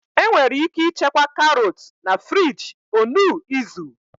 Enwere ike ịchekwa karot na friji onuu izu.